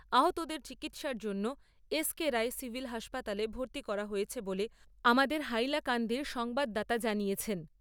আহতদের চিকিৎসার জন্য এস কে রায় সিভিল হাসপাতালে ভর্তি করা হয়েছে বলে আমাদের হাইলাকান্দির সংবাদদাতা জানিয়েছেন।